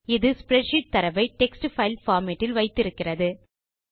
இது ஸ்ப்ரெட்ஷீட் தரவை text file format இல் வைத்திருக்கிறது